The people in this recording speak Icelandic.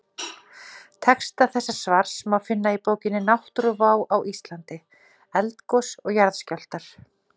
Texta þessa svars má finna í bókinni Náttúruvá á Íslandi: Eldgos og jarðskjálftar.